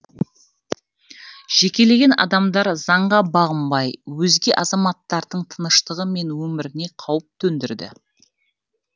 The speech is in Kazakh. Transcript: жекелеген адамдар заңға бағынбай өзге азаматтардың тыныштығы мен өміріне қауіп төндірді